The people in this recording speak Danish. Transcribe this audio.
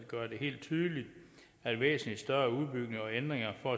gøre det helt tydeligt at væsentlig større udbygninger og ændringer for